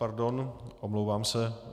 Pardon, omlouvám se.